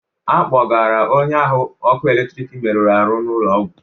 Akpọgara onye ahụ ọkụ eletrik meruru ahụ ụlọ ọgwụ.